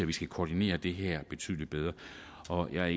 vi skal koordinere det her betydelig bedre og jeg er